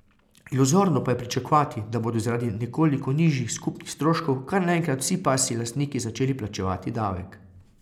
Iluzorno pa je pričakovati, da bodo zaradi nekoliko nižjih skupnih stroškov kar naenkrat vsi pasji lastniki začeli plačevati davek.